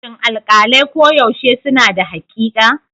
Shin alƙalai koyaushe suna da haƙiƙa?